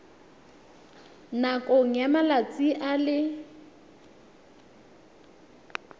nakong ya malatsi a le